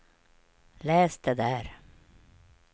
läs det där